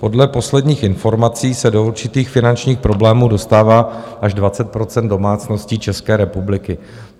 Podle posledních informací se do určitých finančních problémů dostává až 20 % domácností České republiky.